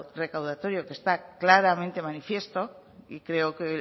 recaudatorio que está claramente manifiesto y creo que